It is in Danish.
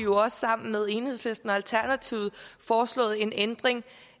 også sammen med enhedslisten og alternativet foreslået en ændring